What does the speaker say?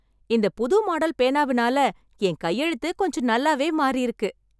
இந்த புது மாடல் பேனாவினால என் கையெழுத்து கொஞ்சம் நல்லாவே மாறியிருக்கு.